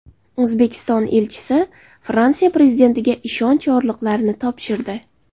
O‘zbekiston elchisi Fransiya prezidentiga ishonch yorliqlarini topshirdi.